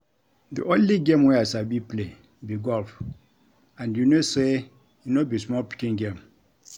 The only game wey I sabi play be golf and you know say e no be small pikin game